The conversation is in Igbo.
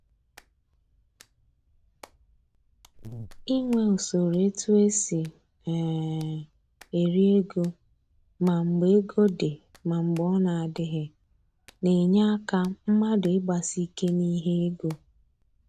Inwe usoro e tu esi um eri ego ma mgbe ego dị ma mgbe ọ na adịghị, na-enye aka mmadụ ịgbasi ike n'ihe ego